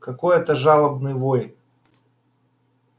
какой это жалобный вой